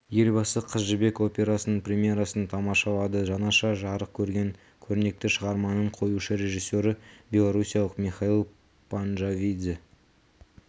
елбасы қыз жібек операсының премьерасын тамашалады жаңаша жарық көрген көрнекті шығарманың қоюшы режиссері белоруссиялық михаил панджавидзе